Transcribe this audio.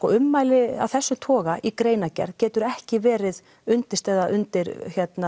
ummæli af þessum toga í greinargerð geta ekki verið undirstaða undir